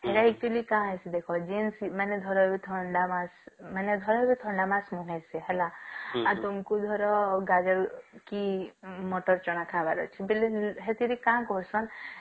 ହେଲା ଏଥିରେ କଣ ଅଛି ଦେଖ ଜେନତି ଭଲକି ଥଣ୍ଡା ମାସ ମାନେ ଭଲକି ଥଣ୍ଡା ମାସ ନୁହେଁ ସେ ହେଲା ଆଉ ତୁମକୁ ଧର ଗାଜର କି ମଟର ଚଣା ଖାଇବାର ଅଛି ବୋଲେ ସେଥିରେ କାଣ କହୁସନ